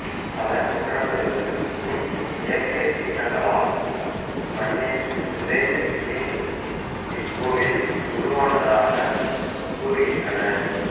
பல நூற்றாண்டுகளுக்கு முன் இயற்கை சீற்றங்களால் மண்ணில் புதைந்து மீண்டும் இக்கோவில் உருவானதாக கூறுகின்றனர்